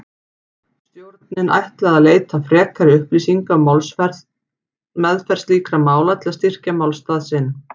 Stjórnin ætlaði að leita frekari upplýsinga um meðferð slíkra mála til að styrkja málstað sinn.